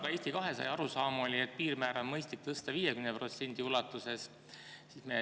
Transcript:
Ka Eesti 200 arusaam oli, et piirmäära on mõistlik tõsta 50% ulatuses.